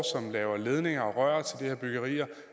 som laver ledninger og rør til de her byggerier